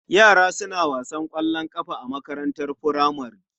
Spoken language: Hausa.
Yara suna wasan ƙwallon ƙafa a makarantar furamare.